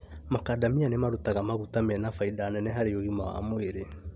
Makadamia nĩmarutaga maguta mena baida nene harĩ ũgima wa mwĩrĩ